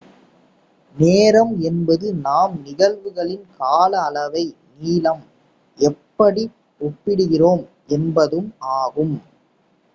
நேரம் என்பது நாம் நிகழ்வுகளின் கால அளவை நீளம் எப்படி ஒப்பிடுகிறோம் என்பதும் ஆகும்